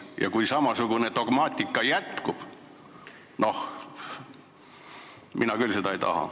Ja kui samasugune dogmaatika ähvardab jätkuda – noh, mina küll seda ei taha.